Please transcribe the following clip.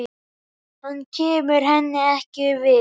Hann kemur henni ekkert við.